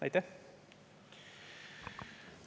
Aitäh!